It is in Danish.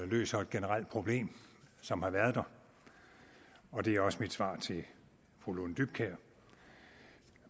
løser et generelt problem som har været der og det er også mit svar til fru lone dybkjær